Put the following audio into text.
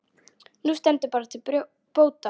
Nú stendur það til bóta.